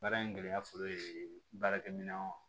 Baara in gɛlɛya fɔlɔ ye baarakɛ minɛn